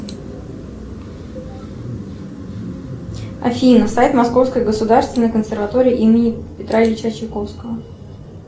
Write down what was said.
афина сайт московской государственной консерватории имени петра ильича чайковского